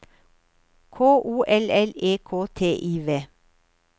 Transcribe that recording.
K O L L E K T I V